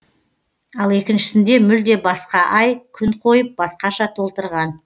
ал екіншісінде мүлде басқа ай күн қойып басқаша толтырған